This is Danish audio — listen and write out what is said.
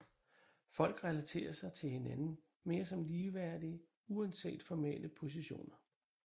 Folk relaterer sig til hinanden mere som ligeværdige uanset formelle positioner